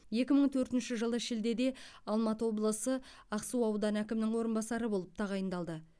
екі мың төртінші жылы шілдеде алматы облысы ақсу ауданы әкімінің орынбасары болып тағайындалды